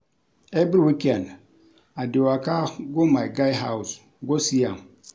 Every weekend I dey waka go my guy house go see am